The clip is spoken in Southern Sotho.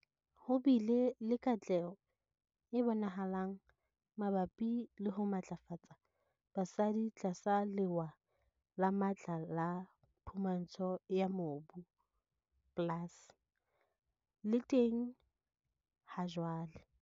Ho bile le katleho e bonahalang mabapi le ho matlafatsa basadi tlasa Lewa le Matla la Phumantsho ya Mobu, PLAS, le teng hajwale.